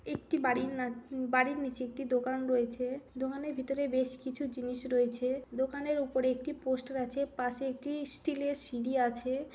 একটি বাড়ির না। উম বাড়ির নিচে একটি দোকান রয়েছে। দোকানের ভিতরে বেশ কিছু জিনিস রয়েছে। দোকানের উপরে একটি পোস্টার আছ। পাশে একটি স্টিল -এর সিঁড়ি আছে।